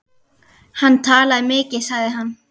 Hann talaði mikið sagði hann.